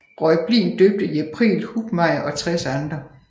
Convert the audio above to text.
Reublin døbte i april Hubmaier og tres andre